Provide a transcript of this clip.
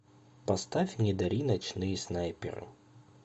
поставь не дари ночные снайперы